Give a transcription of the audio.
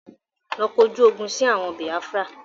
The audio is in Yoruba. Lọ kọjú ogún sì àwọn Biafra!